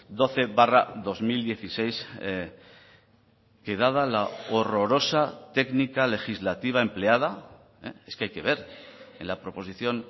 doce barra dos mil dieciséis que dada la horrorosa técnica legislativa empleada es que hay que ver en la proposición